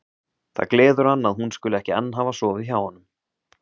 Það gleður hann að hún skuli ekki enn hafa sofið hjá honum.